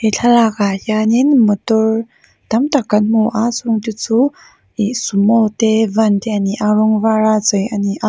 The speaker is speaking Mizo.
he thlalakah hian in motor tam tak kan hmu a chungte chu ihh sumo te van te a ni a rawng var a chei a ni a.